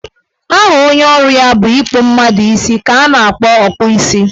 Aha onye ọrụ ya bụ ịkpụ mmadụ isi ka a na-akpọ Ọkpụ isi